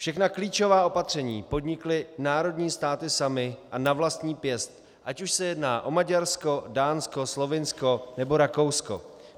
Všechna klíčová opatření podnikly národní státy samy a na vlastní pěst, ať už se jedná o Maďarsko, Dánsko, Slovinsko nebo Rakousko.